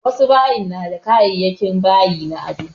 Wasu bayin na da kayayakin bayi na ado